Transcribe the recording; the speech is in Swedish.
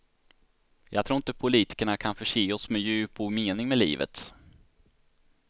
Jag tror inte politikerna kan förse oss med djup och mening med livet.